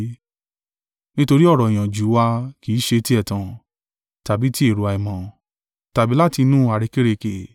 Nítorí ọ̀rọ̀ ìyànjú wa kì í ṣe ti ẹ̀tàn, tàbí ti èrò àìmọ́, tàbí láti inú àrékérekè.